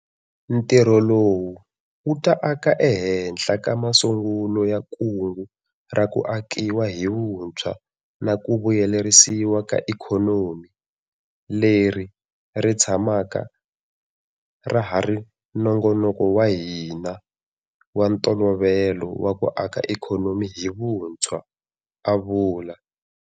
Ntirho lowu wu ta aka ehenhla ka masungulo ya Kungu ra ku Akiwa hi Vu ntshwa na ku Vuyelerisiwa ka Ikhonomi, leri ri tshamaka ra ha ri nongonoko wa hina wa ntolovelo wa ku aka ikhonomi hi vuntshwa, a vula.